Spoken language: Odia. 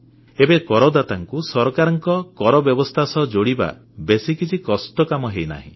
ଏବେ କରଦାତାଙ୍କୁ ସରକାରଙ୍କ କରବ୍ୟବସ୍ଥା ସହ ଯୋଡ଼ିବା ବେଶୀ କିଛି କଷ୍ଟ କାମ ହେଇନାହିଁ